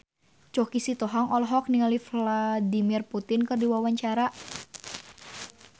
Choky Sitohang olohok ningali Vladimir Putin keur diwawancara